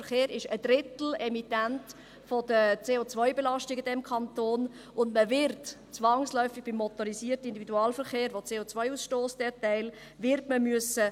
Der Verkehr ist Emittent eines Drittels der CO-Belastung in diesem Kanton, und man wird zwangsläufig bei dem Teil des motorisierten Individualverkehrs, der CO ausstösst, Änderungen machen müssen.